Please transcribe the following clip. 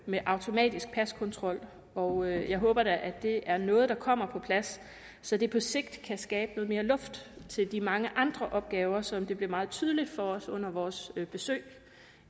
med automatisk paskontrol og jeg håber da at det er noget der kommer på plads så det på sigt kan skabe noget mere luft til de mange andre opgaver som det blev meget tydeligt for os under vores besøg